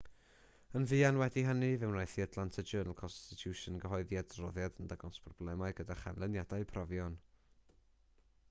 yn fuan wedi hynny fe wnaeth the atlanta journal-constitution gyhoeddi adroddiad yn dangos problemau gyda chanlyniadau profion